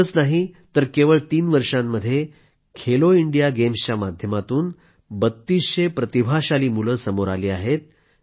इतकंच नाही तर केवळ तीन वर्षांमध्ये खेलो इंडिया गेम्सच्या माध्यमातून बत्तीसशे प्रतिभाशाली मुले समोर आली आहेत